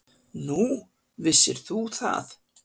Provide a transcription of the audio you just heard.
Nú, vissir þú það?